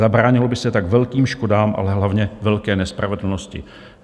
Zabránilo by se tak velkým škodám, ale hlavně velké nespravedlnosti.